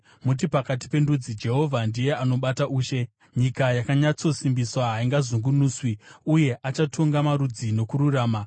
Muti pakati pendudzi, “Jehovha ndiye anobata ushe.” Nyika yakanyatsosimbiswa, haingazungunuswi; uye achatonga marudzi nokururama.